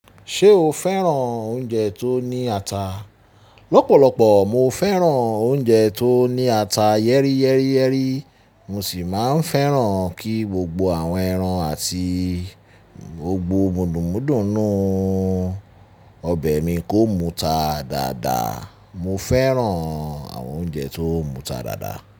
Ṣé o fẹ́ràn oúnjẹ tó ní ata? Lọ́pọ̀lọpọ̀ mo fẹ́ràn oúnjẹ tó ní ata yẹ́rìyẹ́rìyẹ́rì. Mo sì máa ń fẹ́ràn kí gbogbo àwọn ẹran àti gbogbo múdun múdùnú nu ọbẹ̀ mi kó muta dáadáa. Mo fẹ́ràn àwọn oúnjẹ tó muta dáadáa.